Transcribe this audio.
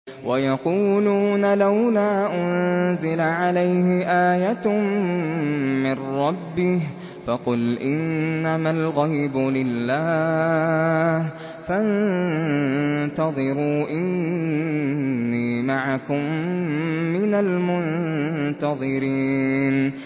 وَيَقُولُونَ لَوْلَا أُنزِلَ عَلَيْهِ آيَةٌ مِّن رَّبِّهِ ۖ فَقُلْ إِنَّمَا الْغَيْبُ لِلَّهِ فَانتَظِرُوا إِنِّي مَعَكُم مِّنَ الْمُنتَظِرِينَ